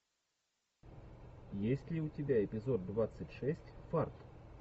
есть ли у тебя эпизод двадцать шесть фарт